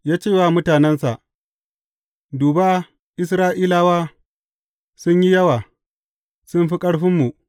Ya ce wa mutanensa, Duba Isra’ilawa sun yi yawa, sun fi ƙarfinmu.